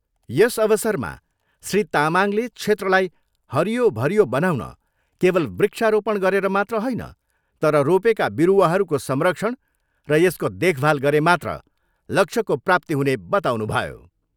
यस अवसरमा श्री तामाङले क्षेत्रलाई हरियो भरियो बनाउन केवल वृक्ष रोपण गरेर मात्र होइन तर रोपेका विरुवाहरूको संरक्षण र यसको देखभाल गरे मात्र लक्ष्यको प्राप्ति हुने बताउनुभयो।